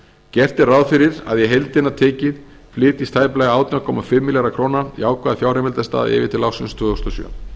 gert er ráð fyrir að í heildina tekið flytjist tæplega átján komma fimm milljarða króna jákvæð fjárheimildastaða yfir til ársins tvö þúsund og sjö